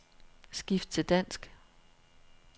Skift til dansk.